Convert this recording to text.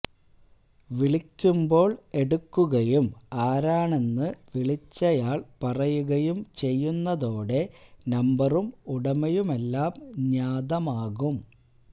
വിളിയ്ക്കുമ്പോൾ എടുക്കുകയും ആരാണെന്നു വിളിച്ചയാൾ പറയുകയും ചെയ്യുന്നതോടെ നമ്പറും ഉടമയുമെല്ലാം ജ്ഞാതമാകും